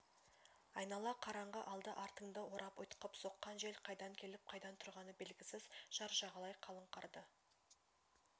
айнала қараңғы алды-артыңды орап ұйтқып соққан жел қайдан келіп қайдан тұрғаны белгісіз жар жағалай қалың қарды